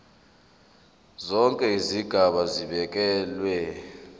zonke izigaba zibekelwe